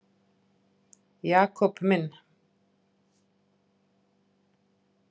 Jakob minn.